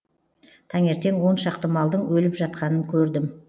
таңертең он шақты малдың өліп жатқанын көрдім